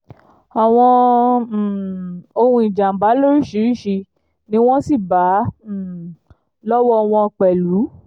àwọn um ohun ìjàm̀bá lóríṣiríṣi ni wọ́n sì bá um lọ́wọ́ wọn pẹ̀lú